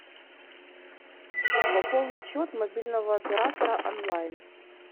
пополнить счет мобильного оператора онлайн